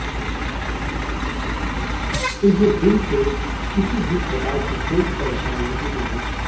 उन्हें बिल से किसी भी प्रकार की कोई परेशानी नहीं होगी